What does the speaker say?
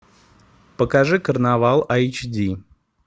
покажи карнавал эйч ди